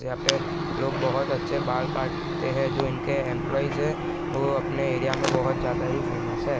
यहाँ पे लोग बहुत अच्छे बाल काटते हैं जो इनके एम्प्लाइज हैं वो अपने एरिया में ज्यादा ही फेमस है।